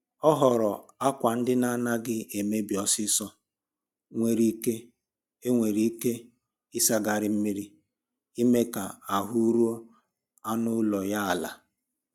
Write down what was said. Ọ họọrọ akwa ndina na-adịghị emebi ọsịsọ e nwere ike e nwere ike ịsagharị mmiri ime ka ahụ rụo anụ ụlọ ya ala